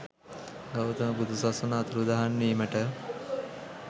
ගෞතම බුදු සසුන අතුරුදහන් වීමට